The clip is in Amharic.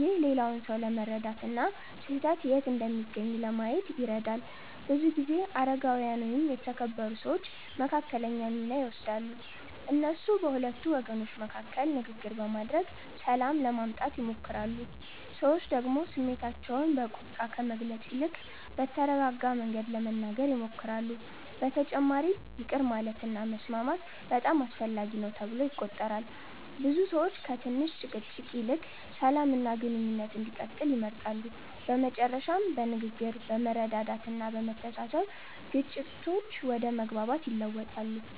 ይህ ሌላውን ሰው ለመረዳት እና ስህተት የት እንደሚገኝ ለማየት ይረዳል። ብዙ ጊዜ አረጋዊያን ወይም የተከበሩ ሰዎች መካከለኛ ሚና ይወስዳሉ። እነሱ በሁለቱ ወገኖች መካከል ንግግር በማድረግ ሰላም ለማምጣት ይሞክራሉ። ሰዎች ደግሞ ስሜታቸውን በቁጣ ከመግለጽ ይልቅ በተረጋጋ መንገድ ለመናገር ይሞክራሉ። በተጨማሪም ይቅር ማለት እና መስማማት በጣም አስፈላጊ ነው ተብሎ ይቆጠራል። ብዙ ሰዎች ከትንሽ ጭቅጭቅ ይልቅ ሰላም እና ግንኙነት እንዲቀጥል ይመርጣሉ። በመጨረሻም በንግግር፣ በመረዳዳት እና በመተሳሰብ ግጭቶች ወደ መግባባት ይለወጣሉ።